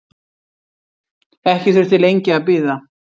Ekki þurfti lengi að bíða.